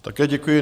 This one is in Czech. Také děkuji.